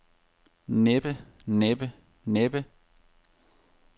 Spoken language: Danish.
næppe næppe næppe